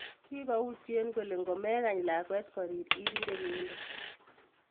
Kikoutye kole ngomekany lakwet korir irire inyendet